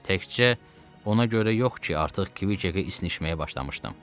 Təkcə ona görə yox ki, artıq Kviqə isnişməyə başlamışdım.